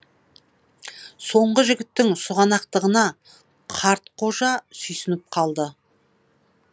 соңғы жігіттің сұғанақтығына қартқожа сүйсініп қалды